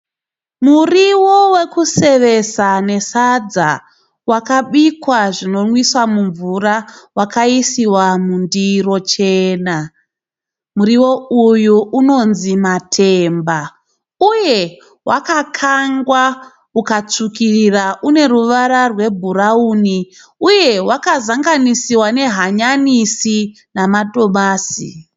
Muriwo wekusevesa ne sadza wakabikwa zvinonwisa mvura. Wakaisiwa mundiro chena, muriwo uyu unonzi matemba uye wakakangwa ukatsvukirira une ruvara rwe bhurauni uye wakazanganisiwa nehanyanisi nama tomasi.